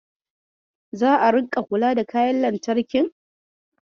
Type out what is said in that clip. Za'a ringa kula da kayan lantarkin?